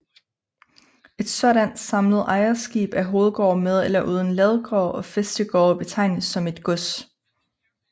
Et sådant samlet ejerskab af hovedgård med eller uden ladegård og fæstegårde betegnes som et gods